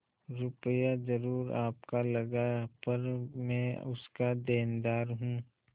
रुपया जरुर आपका लगा पर मैं उसका देनदार हूँ